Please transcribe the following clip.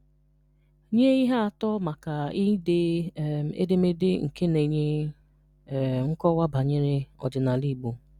Nye ihe atọ maka ide um edemede nke na-enye um nkọwa banyere ọdịnala Igbo.